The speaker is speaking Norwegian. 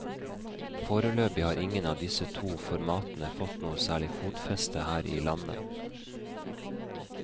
Foreløpig har ingen av disse to formatene fått noe særlig fotfeste her i landet.